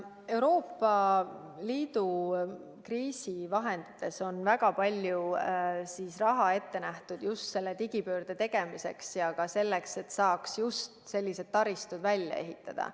Euroopa Liidu kriisivahendites on väga palju raha ette nähtud just digipöörde tegemiseks ja ka selleks, et saaks sellised taristud välja ehitada.